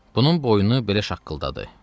Bunun boynu belə şaqqıldadı.